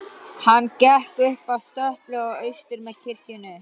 Hann gekk upp að stöpli og austur með kirkjunni.